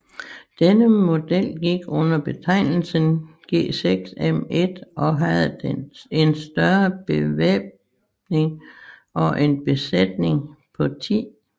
Denne model gik under betegnelsen G6M1 og havde en større bevæbning og en besætning på 10